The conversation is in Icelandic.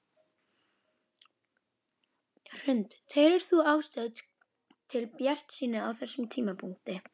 Hrund: Telur þú ástæðu til bjartsýni á þessum tímapunkti?